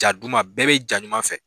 Ja duman bɛɛ bɛ ja ɲuman fɛ